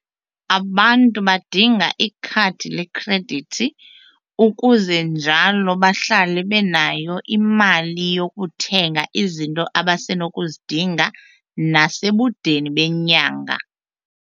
Abantu badinga ikhadi lekhredithi ukuze njalo bahlale benayo imali yokuthenga izinto abasenokuzidinga nasekudeni benyanga.